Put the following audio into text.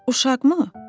Uşağı mı?